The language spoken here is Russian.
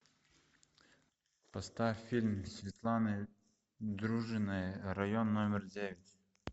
поставь фильм светланы дружининой район номер девять